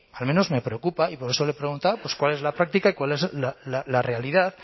al menos me preocupa y por eso le preguntaba cuál es la práctica y cuál es la realidad